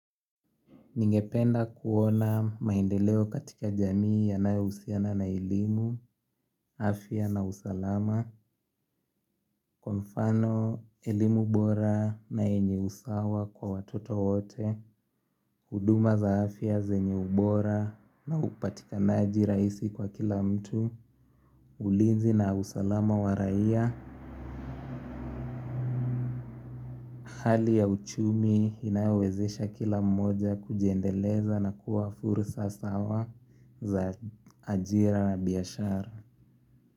Ningependa kuona maendeleo katika jamii yanayohusiana na elimu, afya na usalama, kwa mfano elimu bora na yenye usawa kwa watoto wote, huduma za afya zenye ubora na upatikanaji rahisi kwa kila mtu. Ulinzi na usalama wa raia Hali ya uchumi inayowezesha kila mmoja kujiendeleza na kuwa fursa sawa za ajira na biashara.